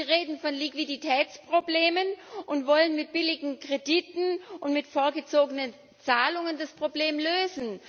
Sie reden von Liquiditätsproblemen und wollen mit billigen Krediten und mit vorgezogenen Zahlungen das Problem lösen.